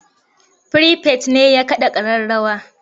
Firifet ne ya kaɗa ƙararrawa.